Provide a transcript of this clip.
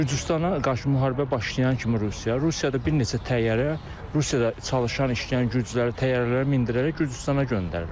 Gürcüstana qarşı müharibə başlayan kimi Rusiya, Rusiyada bir neçə təyyarə Rusiyada çalışan işləyən gürcüləri təyyarələrə mindirərək Gürcüstana göndərirlər.